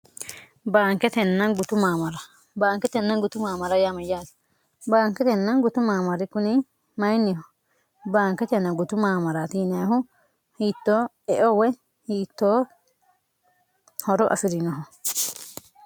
bntgtmmbaanketenna gutu maamara yaamayyaati baanketenna gutu maamari kuni mayinniho baanketenna gutu maamara tiinehu hiittoo eow hiittoo horo asi'rinohu